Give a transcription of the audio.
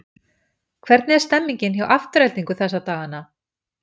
Hvernig er stemningin hjá Aftureldingu þessa dagana?